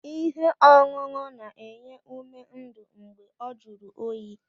Ihe ọṅụṅụ na-enye ume ndụ mgbe ọ jụrụ oyi.